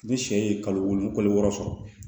Ni sɛ ye kalo wolo kalo wɔɔrɔ sɔrɔ